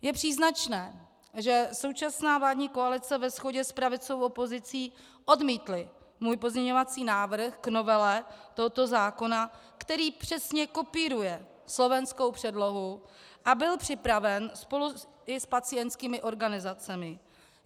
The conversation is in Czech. Je příznačné, že současná vládní koalice ve shodě s pravicovou opozicí odmítly můj pozměňovací návrh k novele tohoto zákona, který přesně kopíruje slovenskou předlohu a byl připraven spolu i s pacientskými organizacemi.